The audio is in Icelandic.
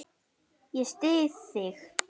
Ég styð þig.